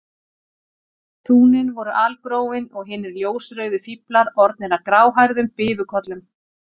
Túnin voru algróin og hinir ljósrauðu fíflar orðnir að gráhærðum bifukollum.